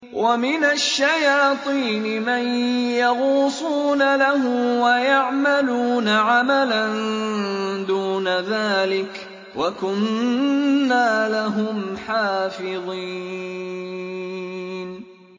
وَمِنَ الشَّيَاطِينِ مَن يَغُوصُونَ لَهُ وَيَعْمَلُونَ عَمَلًا دُونَ ذَٰلِكَ ۖ وَكُنَّا لَهُمْ حَافِظِينَ